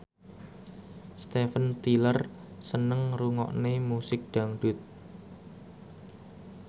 Steven Tyler seneng ngrungokne musik dangdut